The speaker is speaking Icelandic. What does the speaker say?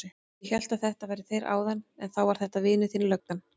Ég hélt að þetta væru þeir áðan en þá var þetta vinur þinn löggan.